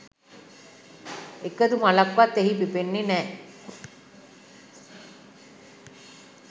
එකදු මලක්වත් එහි පිපෙන්නේ නැහැ.